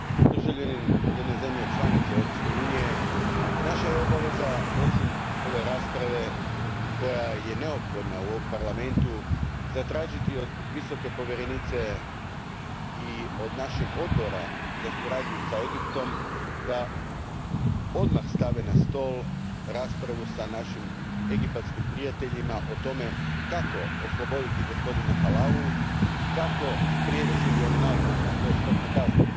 Državljanin jedne zemlje članice Europske unije i naša je obavza, osim ove rasprave koja je neophodna u ovom Parlamentu, zatražiti od Visoke povjerenice i od našeg Odbora za suradnju s Egiptom da odmah stave na stol raspravu s našim egipatskim prijateljima o tome kako osloboditi gospodina Halawu i kako spriječiti da on doživi ono najgore, a to je smrtna kazna.